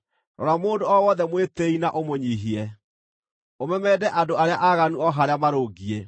rora mũndũ o wothe mwĩtĩĩi na ũmũnyiihie, ũmemende andũ arĩa aaganu o harĩa marũngiĩ.